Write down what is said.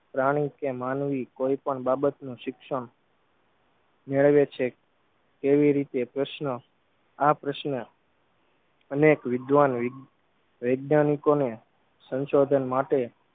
પ્રાણી કે માનવી કોઈપણ બાબત નું શિક્ષણ મેળવે છે તેવી રીતે પ્રશ્ન આ પ્રશ્ન અનેક વિધવાન વી વૈજ્ઞાનિકોને સંશોધન માટે